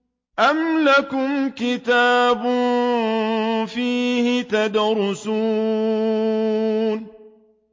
أَمْ لَكُمْ كِتَابٌ فِيهِ تَدْرُسُونَ